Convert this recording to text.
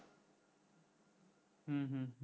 হুম হুম